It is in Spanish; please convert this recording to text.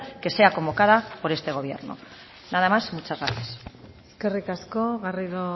que sea convocada por este gobierno nada más muchas gracias eskerrik asko garrido